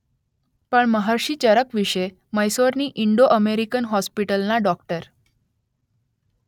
પણ મહર્ષિ ચરક વિશે મૈસૂરની ઇન્ડો અમેરિકન હોસ્પિટલના ડૉ